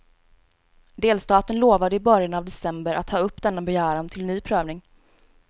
Delstaten lovade i början av december att ta upp denna begäran till ny prövning.